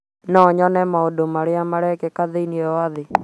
no nyone maũndũ marĩa marekĩka thĩinĩ wa thĩ.